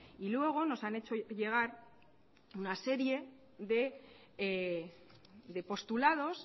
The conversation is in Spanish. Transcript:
y luego nos han hecho llegar una serie de postulados